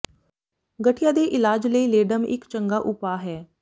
ਗਠੀਆ ਦੇ ਇਲਾਜ ਲਈ ਲੇਡਮ ਇੱਕ ਚੰਗਾ ਉਪਾ ਹੈ